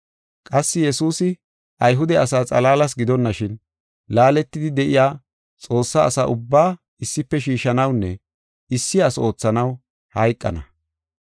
Qassi Yesuusi Ayhude asaa xalaalas gidonashin laaletidi de7iya Xoossaa asa ubbaa issife shiishanawunne issi asi oothanaw hayqana.